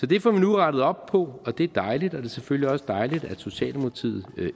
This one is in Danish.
det får vi nu rettet op på og det er dejligt og det er selvfølgelig også dejligt at socialdemokratiet